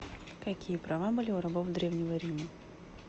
какие права были у рабов древнего рима